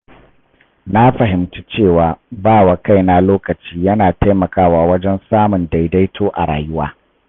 Na fahimci cewa ba wa kaina lokaci yana taimakawa wajen samun daidaito a rayuwa.